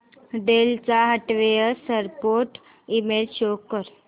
del चा hardware support email show कर